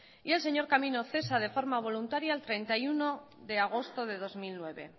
y el señor camino cesa de manera voluntaria el treinta y uno de agosto de dos mil nueve